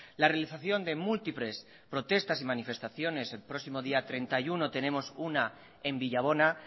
la realización de múltiples protestas y manifestaciones el próximo día treinta y uno tenemos una en villabona